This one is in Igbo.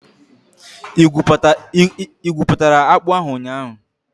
Ị igwuputara akpu ahu ụnyahụ?